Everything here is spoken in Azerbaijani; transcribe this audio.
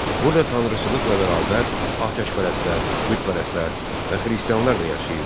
Burda tanrıçılıqla bərabər, atəşpərəstlər, bütpərəstlər və xristianlar da yaşayırdılar.